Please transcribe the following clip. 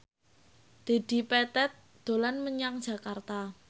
Dedi Petet dolan menyang Jakarta